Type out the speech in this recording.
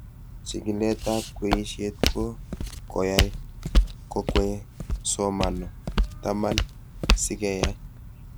Chig'ilet ab kweishet ko koyai kokwei somano taman si keyai